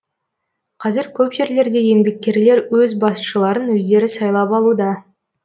қазір көп жерлерде еңбеккерлер өз басшыларын өздері сайлап алуда